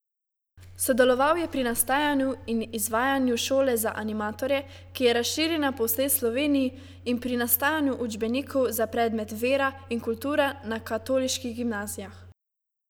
Sodeloval je pri nastajanju in izvajanju Šole za animatorje, ki je razširjena po vsej Sloveniji, in pri nastajanju učbenikov za predmet Vera in kultura na katoliških gimnazijah.